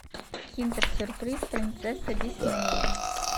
киндер сюрприз принцесса диснея